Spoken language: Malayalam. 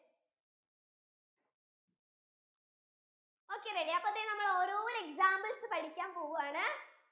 okay ready അപ്പൊ നമ്മൾ ഓരോരോ examples പഠിക്കാൻ പോവാണ്